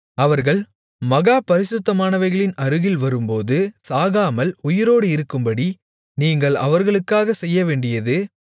அவர்கள் மகா பரிசுத்தமானவைகளின் அருகில் வரும்போது சாகாமல் உயிரோடு இருக்கும்படி நீங்கள் அவர்களுக்காகச் செய்யவேண்டியது